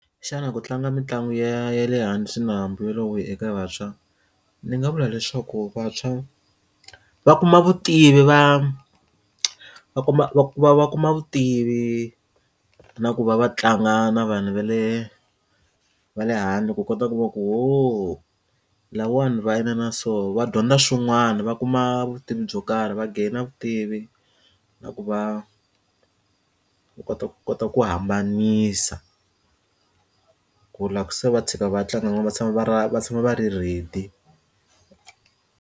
Xana ku tlanga mitlangu ya le hansi na mbuyelo wo biha eka vantshwa ni nga vula leswaku vantshwa va kuma vutivi va va kuma va va va kuma vutivi na ku va va tlanga na vanhu va le va le handle ku kota ku va ku ohoo lawani va inana so va dyondza swin'wana va kuma vutivi byo karhi va gainer vutivi na ku va u kota ku kota ku hambanisa ku loko se va tshika va tlanga va tshama va ra va tshama va ri ready.